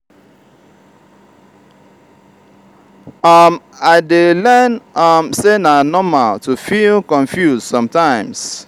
um i dey learn um say na normal to feel confused sometimes.